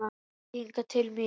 Komdu hingað til mín.